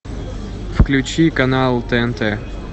включи канал тнт